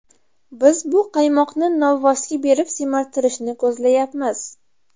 Biz bu qaymoqni novvosga berib semirtirishni ko‘zlayapmiz.